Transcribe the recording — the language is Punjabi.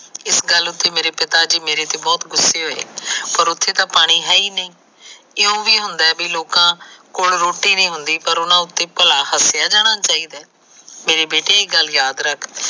ਇਸ ਗੱਲ ਉਤੇ ਮੇਰੇ ਪਿਤਾ ਜੀ ਮੇਰੇ ਤੇ ਬਹੁਤ ਗੁਸੇ ਹੋਏ ਪਰ ਉਥੇ ਤਾ ਪਾਣੀ ਹੈ ਹੀ ਨਹੀ ਲੋਕਾ ਕੋਲ ਰੋਟੀ ਨੀ ਹੁੰਦਾ ਪਰ ਉਹਨਾ ਕੋਲ ਹਸਿਆ ਜਾਣਾ ਚਾਹੀਦਾ ਮੇਰੇ ਬੇਟੇ ਇਹ ਗੱਲ ਯਾਦ ਰੱਖ